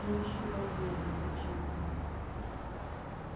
им ещё больнее будет чем ей